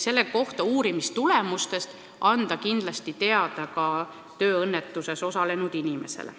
Uurimistulemustest tuleb kindlasti anda teada ka tööõnnetuses osalenud inimesele.